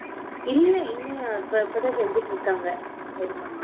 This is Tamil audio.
இல்ல இன்னும் இப்பதான் செஞ்சிட்டு இருக்காங்க பெரியம்மா